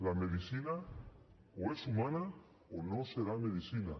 la medicina o és humana o no serà medicina